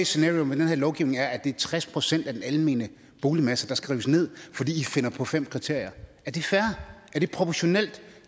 scenario med den her lovgivning er at det er tres procent af den almene boligmasse der skal rives ned fordi i finder på fem kriterier er det fair er det proportionelt